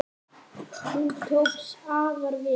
Hún tókst afar vel.